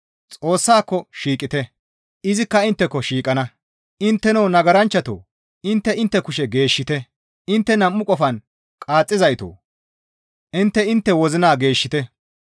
Xoossako shiiqite; izikka intteko shiiqana; intteno nagaranchchatoo! Intte intte kushe geeshshite; intteno nam7u qofan qaaxxizaytoo! Intte intte wozina geeshshite.